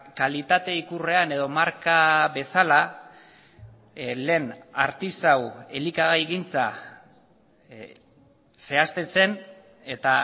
kalitate ikurrean edo marka bezala lehen artisau elikagaigintza zehazten zen eta